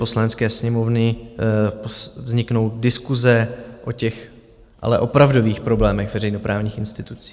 Poslanecké sněmovny vzniknout diskuse o těch ale opravdových problémech veřejnoprávních institucí.